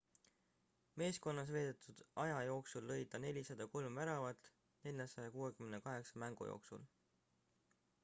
meeskonnas veedetud aja jooksul lõi ta 403 väravat 468 mängu jooksul